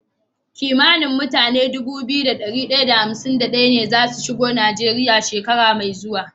Kimanin mutane Dubu biyu da dari daya da hamsin da daya ne zasu shigo nigeria shekara me zuwa